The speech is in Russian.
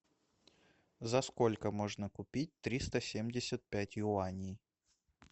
за сколько можно купить триста семьдесят пять юаней